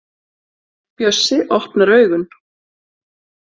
Bjössi opnar augun.